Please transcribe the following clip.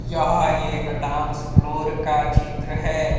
यहाँ एक dance floor का चित्र है।